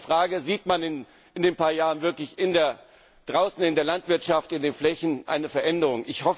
Deshalb ist die Frage Sieht man in ein paar Jahren wirklich draußen in der Landwirtschaft, in den Flächen, eine Veränderung?